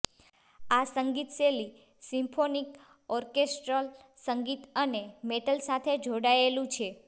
આ સંગીત શૈલી સિમ્ફોનીક ઓર્કેસ્ટ્રલ સંગીત અને મેટલ સાથે જોડાયેલું છે